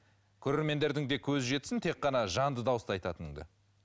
көрермендердің де көзі жетсін тек қана жанды дауыста айтатыныңды